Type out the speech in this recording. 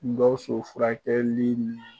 Gawusu furakɛli ɲɛ